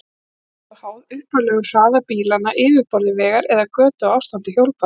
Hún er eingöngu háð upphaflegum hraða bílanna, yfirborði vegar eða götu og ástandi hjólbarða.